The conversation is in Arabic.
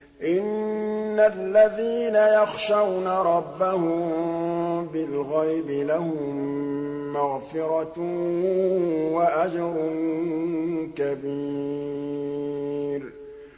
إِنَّ الَّذِينَ يَخْشَوْنَ رَبَّهُم بِالْغَيْبِ لَهُم مَّغْفِرَةٌ وَأَجْرٌ كَبِيرٌ